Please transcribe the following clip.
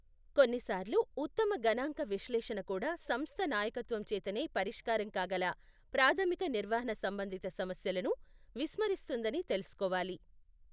కొన్నిసార్లు ఉత్తమ గణాంక విశ్లేషణ కూడా సంస్థ నాయకత్వం చేతనే పరిష్కారం కాగల ప్రాథమిక నిర్వహణ సంబంధిత సమస్యలను విస్మరిస్తుందని తెలుసుకోవాలి.